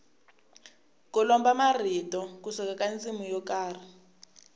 ku lomba marito ku suka ka ndzimi yo karhi